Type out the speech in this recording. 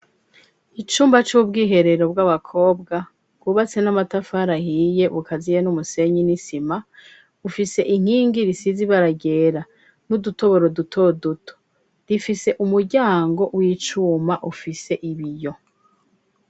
Icumba c'ubwiherero bw'abakobwa wubatse n'amatafarahiye bukaziye n'umusenyi n'isima ufise inkingi risizi baragera n'udutoboro dutoduto rifise umuryango w'icuma ufise ibi yo.